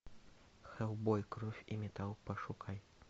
хеллбой кровь и металл пошукай